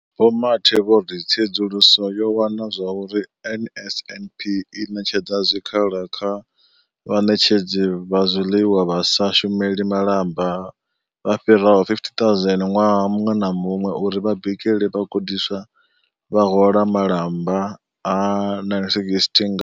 Vho Mathe vho ri tsedzuluso yo wana uri NSNP i ṋetshedza zwikhala kha vhaṋetshedzi vha zwiḽiwa vha sa shumeli malamba vha fhiraho 50 000 ṅwaha muṅwe na muṅwe uri vha bikele vhagudiswa, vha hola malamba a 960 nga.